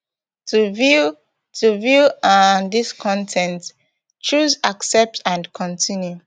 to view to view um dis con ten t choose accept and continue